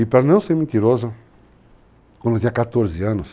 E para não ser mentiroso, quando eu tinha 14 anos,